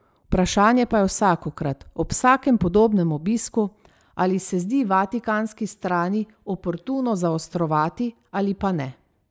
Vprašanje pa je vsakokrat, ob vsakem podobnem obisku, ali se zdi vatikanski strani oportuno zaostrovati ali pa ne.